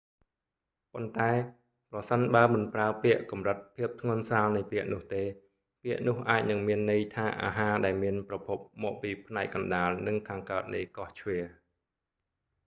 ប៉ុន្តែ ប្រសិនបើមិនប្រើពាក្យកម្រិតភាពធ្ងន់ស្រាលនៃពាក្យនោះទេ ពាក្យនោះអាចនឹងមានន័យថាអាហារដែលមានប្រភពមកពីផ្នែកកណ្តាលនិងខាងកើតនៃកោះជ្វា java